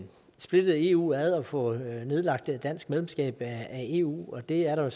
splittet eu ad og få nedlagt det danske medlemskab af eu og det er der